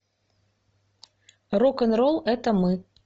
рок н ролл это мы